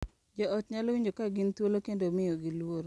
Jo ot nyalo winjo ka gin thuolo kendo miyogi luor,